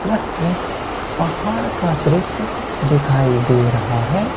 यह एक पहाड़ का दृश्य दिखाई दे रहा है।